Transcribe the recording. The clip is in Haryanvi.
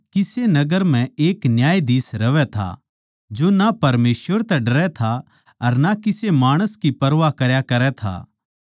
किसे नगर म्ह एक न्यायाधीश रहवैं था जो ना परमेसवर तै डरै था अर ना किसे माणस की आँट मान्नै था